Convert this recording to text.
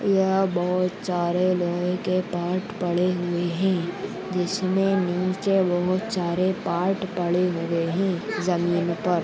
यह बहुत चारे लोहे के पार्ट पड़े हुए है जिसमे नीचे बहुत चारे पार्ट पड़े हुए है जमीन पर।